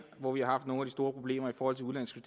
hvor vi har haft nogle store problemer i forhold til udenlandske